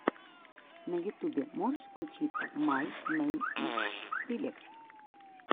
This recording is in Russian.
на ютубе можешь включить май нэйм из скриллекс